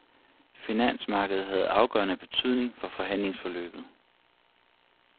Finansmarkedet havde afgørende betydning for forhandlingsforløbet.